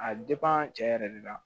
A cɛ yɛrɛ de la